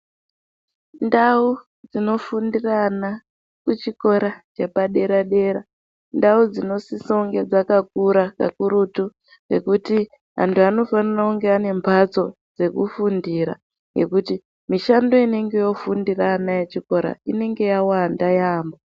Ndau dzinofundira vana vepadera dera ndau dzinosisa kunge dzakakura kakurutu ngekuti vantu vanofanira kunge vane mbatso dzekufundira ngekuti mishando inenge yofundira ana echikora inenge yawanda yambo.